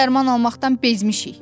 Sənə dərman almaqdan bezmişik.